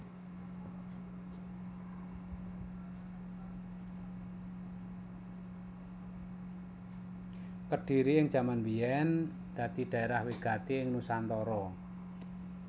Kedhiri ing jaman biyèn dadi dhaerah wigati ing nusantara